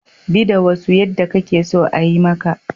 Bi da wasu yadda kuke so a yi maka